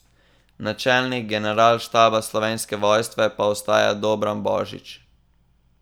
Načelnik Generalštaba Slovenske vojske pa ostaja Dobran Božič.